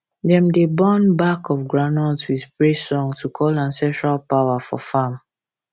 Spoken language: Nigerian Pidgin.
dem dey burn back of groundnut with praise song to call ancestral power for farm